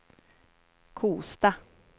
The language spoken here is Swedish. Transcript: Kosta